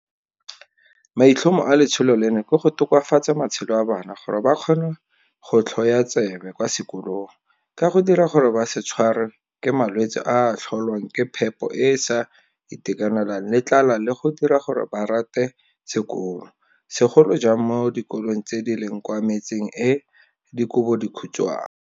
Maitlhomo a letsholo leno ke go tokafatsa matshelo a bana gore ba kgone go tlhwoyatsebe kwa sekolong, ka go dira gore ba se tshwarwe ke malwetse a a tlholwang ke phepo e e sa itekanelang le tlala le go dira gore ba rate sekolo, segolo jang mo dikolong tse di leng kwa metseng e e dikobodikhutshwane.